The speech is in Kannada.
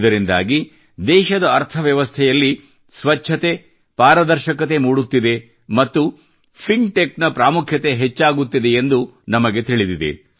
ಇದರಿಂದಾಗಿ ದೇಶದ ಅರ್ಥವ್ಯವಸ್ಥೆಯಲ್ಲಿ ಸ್ವಚ್ಛತೆ ಪಾರದರ್ಶಕತೆ ಮೂಡುತ್ತಿದೆ ಮತ್ತು fintechನ ಪ್ರಾಮುಖ್ಯತೆ ಹೆಚ್ಚಾಗುತ್ತಿದೆಯೆಂದು ನಮಗೆ ತಿಳಿದಿದೆ